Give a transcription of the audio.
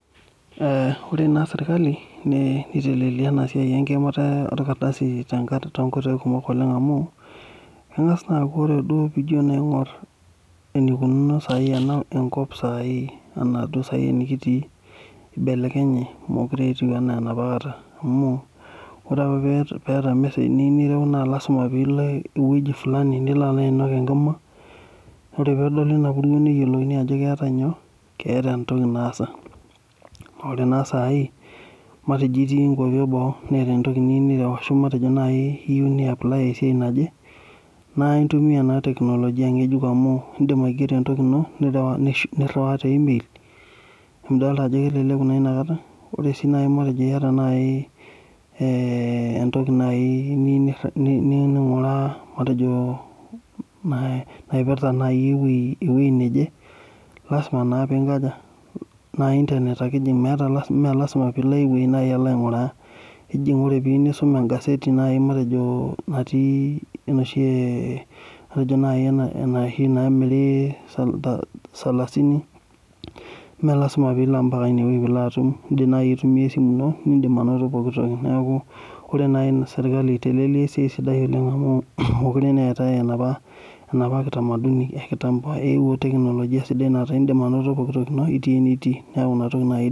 Ore naa sirkali neitelelia ena siai enkimata orkardasi amu engas naa aku ore pee ingoru eneikununo enkop saai, ena saai enetkiti eibelekenya mookure etiu enaa enapa kata amu ore apa pee eeta emesej niyieu nireu naa lasima pee ilo eweji fulani nilo alo ainok enkima ore pee edoli ina puruo nedoli ajo keeta entoki naasa ,ore naa sai matejo otii nkwapi eboo niyieun niyapaly orkasi oje na intumia naa teknolojia ngejuk nireu te email emidol ajo keleku inakata ,ore sii naji teneta entoki niyieu ninguraa matejo naipirta naaji eweji neje ,lasima naa intanet ake enjing mintoki alo aiweji alo ainguraa ,matejo ore naji poee iyieu nisum engaseti matejo noshi namiri salasini meelasima pee ilo ineweji pee ilo atum ,indim naaji aitumiyia esimu ino nindim anoto piiki noki neeku ore naaji serkali eitelelia esiai sidai oleng amu mookure eetae enapa kitamaduni enkitampo eeuo teknolojia naa indim anoto pooki toki ino otii eniti.